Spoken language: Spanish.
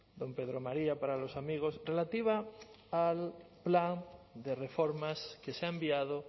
don pedro maría para los amigos relativa al plan de reformas que se ha enviado